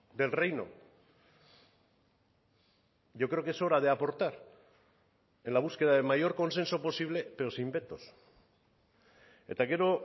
del reino yo creo que es hora de aportar en la búsqueda de mayor consenso posible pero sin vetos eta gero